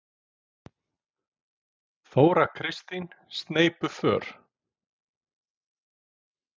Þóra Kristín: Sneypuför?